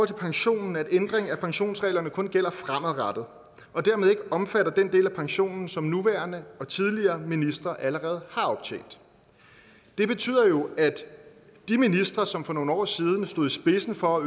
til pensionen at ændringen af pensionsreglerne kun gælder fremadrettet og dermed ikke omfatter den del af pensionen som nuværende og tidligere ministre allerede har optjent det betyder jo at de ministre som for nogle år siden stod i spidsen for at